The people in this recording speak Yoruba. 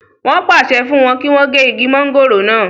wọ́n pàṣẹ fún wọn kí wọ́n gé igi mọ́ngòrò náà